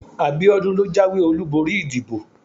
abiodun lo jawé olubori ìdíbò